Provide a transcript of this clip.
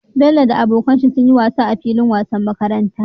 Bello da abokan shi sunyi wasa a filin wasan makaranta